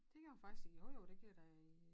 Det gjorde jeg faktisk i jo jo det gjorde jeg da i øh